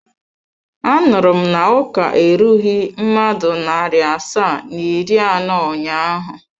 Anuru m na uka erughi mmadụ nari asaa na iri ano ụnyaahụ?